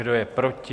Kdo je proti?